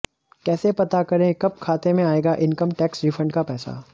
कैसे पता करें कब खाते में आएगा इनकम टैक्स रिफंड का पैसा